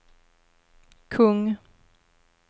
kung